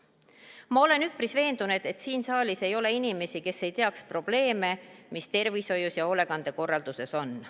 Ma olen üpris veendunud, et siin saalis ei ole inimesi, kes ei teaks probleeme, mis tervishoius ja hoolekandekorralduses on.